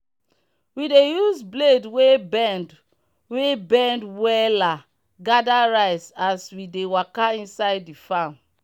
we dey use blade wey bend wey bend wella gather rice as we dey waka inside the farm.